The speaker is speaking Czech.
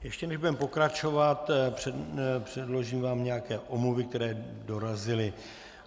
Ještě než budeme pokračovat, předložím vám nějaké omluvy, které dorazily.